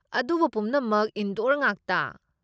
ꯑꯗꯨꯕꯨ ꯄꯨꯝꯅꯃꯛ ꯏꯟꯗꯣꯔ ꯉꯥꯛꯇ꯫